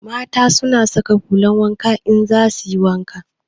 Mata na saka hulan wanka in za suyi wanka